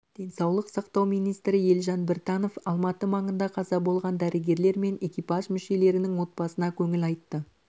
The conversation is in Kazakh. денсаулық сақтау министрі елжан біртанов алматы маңында қаза болған дәрігерлер мен экипаж мүшелерінің отбасына көңіл айтты